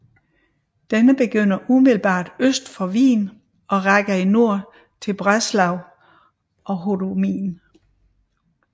Den begynder umiddelbart øst for Wien og rækker i nord til Břeclav og Hodonín